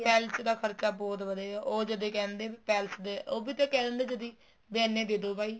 palace ਦਾ ਖਰਚਾ ਬਹੁਤ ਵਧੇਗਾ ਉਹ ਜਦੇਂ ਹੀ ਕਹਿ ਦਿੰਨੇ ਹੈ ਵੀ palace ਦੇ ਉਹ ਵੀ ਕਹਿ ਦਿੰਨੇ ਏ ਜਦੀ ਵੀ ਐਨੇ ਦੇਦੋ ਬਾਈ